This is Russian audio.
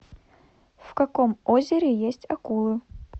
в каком озере есть акулы